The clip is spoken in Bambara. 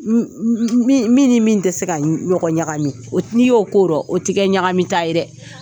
Mi m min ni min tɛ se ka ɲɔgɔn ɲagami o te n'i y'o korɔ o tɛ ɲagami ta ye dɛ.